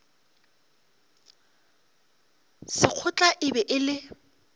sekgotla e be e le